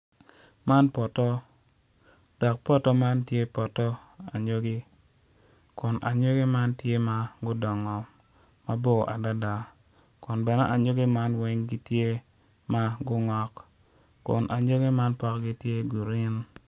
Man poto dok poto man tye poto anyogi kun anyogi man tye ma gudongo mabor adada bene anyogi man weng gitye ma gungo kun ayogi man potgi tye grin